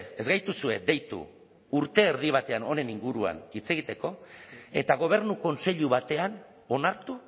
ez gaituzue deitu urte erdi batean honen inguruan hitz egiteko eta gobernu kontseilu batean onartu